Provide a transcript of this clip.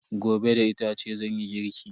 Gobe da itace zanyi girki.